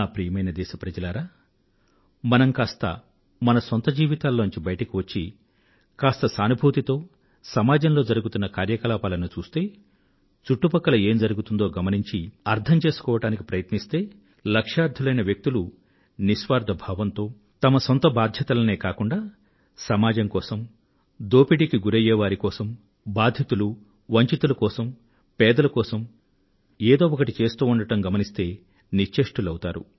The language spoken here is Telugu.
ప్రియమైన నా దేశవాసులారా మనం కాస్త మనసొంత జీవితాలలో నుండి బయటకు వచ్చి కాస్త సానుభూతితో సమాజంలో జరుగుతున్న కార్యకలాపాలను చూస్తే చుట్టుపక్కల ఏం జరుగుతోందో గమనించి అర్థం చేసుకోవడానికి ప్రయత్నిస్తే లక్ష్యార్థులైన వ్యక్తులు నిస్వార్థ భావంతో తమ సొంత బాధ్యతలనే కాకుండా సమాజం కోసం దోపిడీకి గురయ్యే వార్తి కోసం బాధితులు వంచితుల కోసం పేదల కోసం ఏదో ఒకటి చేస్తూ ఉండడం గమనిస్తే నిశ్చేష్టులౌతారు